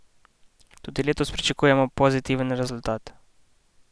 Tudi letos pričakujemo pozitiven rezultat!